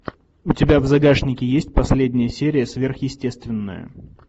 у тебя в загашнике есть последняя серия сверхъестественное